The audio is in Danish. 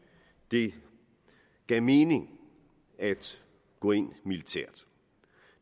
det gav mening at gå ind militært